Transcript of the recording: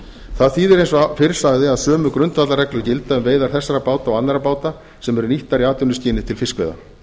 það þýðir eins og fyrr sagði að sömu grundvallarreglur gilda um veiðar þessara báta og annarra báta sem eru nýttar í atvinnuskyni til fiskveiða